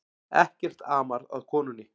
Ekkert amar að konunni